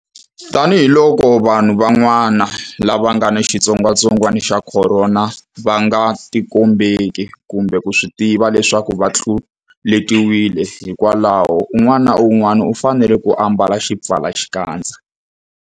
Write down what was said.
Tanihiloko vanhu van'wana lava nga ni xitsongwantsongwana xa Khorona va nga tikombeki kumbe ku swi tiva leswaku va tluletiwile, hikwalaho un'wana na un'wana u fanele ku ambala xipfalaxikandza.